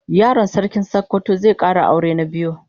Yaron sarkin sokoto zai Kara aure na biyu